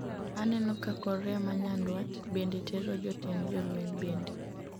aneno ka korea manyandwat bende tero jotend jolweny bende